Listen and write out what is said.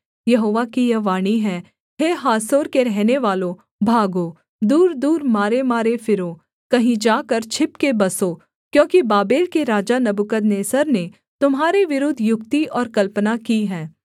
यहोवा की यह वाणी है हे हासोर के रहनेवालों भागो दूरदूर मारेमारे फिरो कहीं जाकर छिपके बसो क्योंकि बाबेल के राजा नबूकदनेस्सर ने तुम्हारे विरुद्ध युक्ति और कल्पना की है